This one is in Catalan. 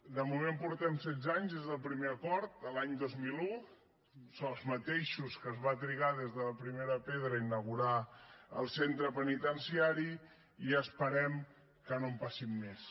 de moment portem setze anys des del primer acord l’any dos mil un els mateixos que es va trigar des de la primera pedra a inaugurar el centre penitenciari i esperem que no en passin més